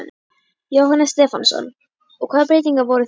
Jóhannes Stefánsson: Og hvaða breytingar voru það?